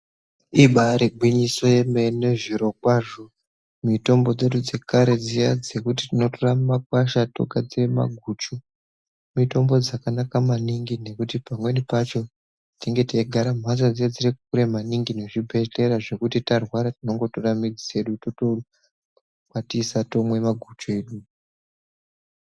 Ibari gwinyiso yemene zvirokwazvo mitombo dzedu dziya dzekare dzekuti tinotora mumakwasha otogadzire maguchu mitombo dzakanaka maningi nekuti pamweni pacho tinengebteigara mhatso dzinenge dziri kure maningi ngezvibhedhlera zvekuti tarwara tinongotore midzi dzedu tongokwatisa togadzire maguchu.